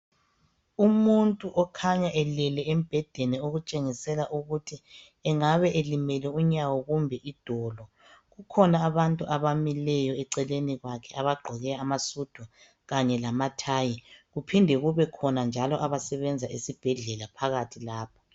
umuntu okhanya elele embhedeni okutshengisela ukuthi engabe elimele unyawo kumbe idolo, kukhona abantu abamileyo eceleni kwakhe abagqoke amasudu kanye lamathayi kuphinde kube khona njalo abasebenza esibhedlela phakathi lapho.